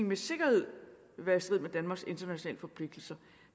med sikkerhed vil være i strid med danmarks internationale forpligtelser